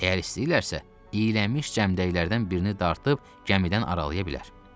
Əgər istəyirlərsə, iylənmiş cəmdəklərdən birini dartıb cəmidən aralaya bilər.